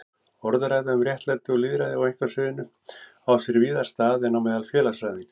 Orðræða um réttlæti og lýðræði á einkasviðinu á sér víðar stað en meðal félagsfræðinga.